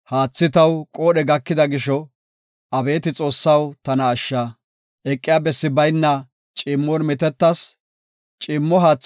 Eqiya bessi bayna ciimmon mitettas; ciimmo haatha giddo gelas; haatha zuley ta bollara aadhis.